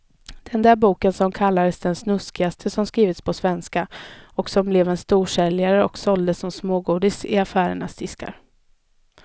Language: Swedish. Den där boken som kallades det snuskigaste som skrivits på svenska och som blev en storsäljare och såldes som smågodis i affärernas diskar.